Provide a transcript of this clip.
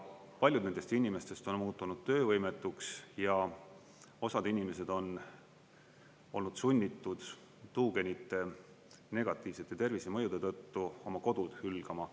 Paljud nendest inimestest on muutunud töövõimetuks ja osad inimesed on olnud sunnitud tuugenite negatiivsete tervisemõjude tõttu oma kodud hülgama.